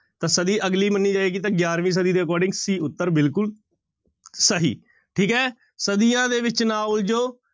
ਤਾਂ ਸਦੀ ਅਗਲੀ ਮੰਨੀ ਜਾਏਗੀ ਤਾਂ ਗਿਆਰਵੀਂ ਸਦੀ ਦੇ according c ਉੱਤਰ ਬਿਲਕੁਲ ਸਹੀ, ਠੀਕ ਹੈ ਸਦੀਆਂ ਦੇ ਵਿੱਚ ਨਾ ਉਲਝੋ।